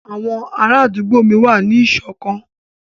Àwọn ará àdúgbò mi wà ní ìṣọ̀kan